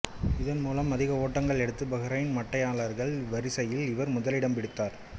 இதன்மூலம் அதிக ஓட்டங்கள் எடுத்த பஹ்ரைன் மட்டையாளர்கள் வரிசையில் இவர் முதலிடம் பிடித்தார்